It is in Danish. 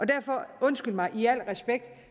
derfor undskyld mig